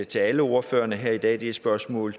til alle ordførerne her i dag det er spørgsmål